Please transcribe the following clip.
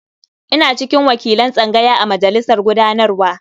Ina cikin wakilan tsangaya a majalisar gudanarwa.